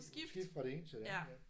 Skifte fra det ene til det andet ja